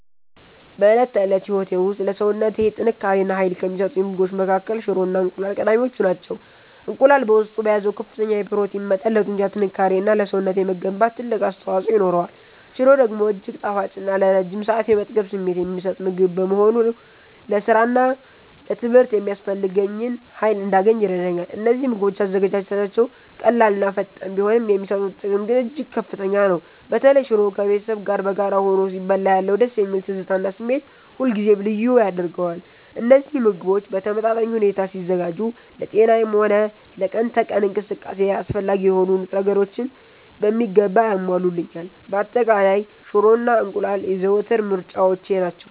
በዕለት ተዕለት ሕይወቴ ውስጥ ለሰውነቴ ጥንካሬ እና ኃይል ከሚሰጡኝ ምግቦች መካከል ሽሮ እና እንቁላል ቀዳሚዎቹ ናቸው። እንቁላል በውስጡ በያዘው ከፍተኛ የፕሮቲን መጠን ለጡንቻ ጥንካሬ እና ለሰውነቴ መገንባት ትልቅ አስተዋፅኦ ይኖረዋል። ሽሮ ደግሞ እጅግ ጣፋጭ እና ለረጅም ሰዓት የመጥገብ ስሜት የሚሰጥ ምግብ በመሆኑ ለሥራና ለትምህርት የሚያስፈልገኝን ኃይል እንዳገኝ ይረዳኛል። እነዚህ ምግቦች አዘገጃጀታቸው ቀላልና ፈጣን ቢሆንም፣ የሚሰጡት ጥቅም ግን እጅግ ከፍተኛ ነው። በተለይ ሽሮ ከቤተሰብ ጋር በጋራ ሆኖ ሲበላ ያለው ደስ የሚል ትዝታ እና ስሜት ሁልጊዜም ልዩ ያደርገዋል። እነዚህ ምግቦች በተመጣጣኝ ሁኔታ ሲዘጋጁ ለጤናዬም ሆነ ለቀን ተቀን እንቅስቃሴዬ አስፈላጊ የሆኑ ንጥረ ነገሮችን በሚገባ ያሟሉልኛል። በአጠቃላይ፣ ሽሮ እና እንቁላል የዘወትር ምርጫዎቼ ናቸው።